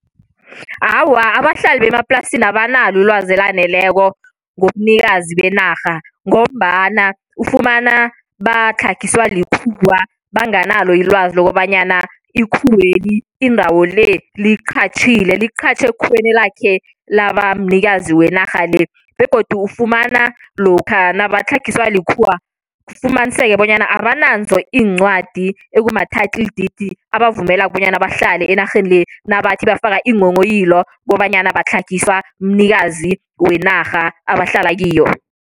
Awa, abahlali bemaplasini abanalo ilwazi elaneleko ngobunikazi benarha, ngombana ufumana batlhagiswa likhuwa, banganalo ilwazi lokobanyana ikhuweli indawo le liyiqatjhile, liqatjhe ekhuweni elakhe laba mnikazi wenarha le. Begodu ufumana lokha nabatlhagiswa likhuwa, kufumaniseke bonyana abanazo iincwadi ekuma-title deed abavumelako bonyana bahlale enarheni le, nabathi bafaka iinghonghoyilo kobanyana batlhagiswa mnikazi wenarha abahlala kiyo.